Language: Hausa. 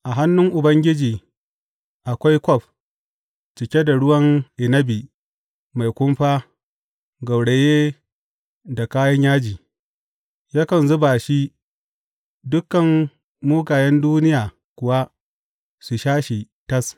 A hannun Ubangiji akwai kwaf cike da ruwan inabi mai kumfa gauraye da kayan yaji; yakan zuba shi, dukan mugayen duniya kuwa su sha shi tas.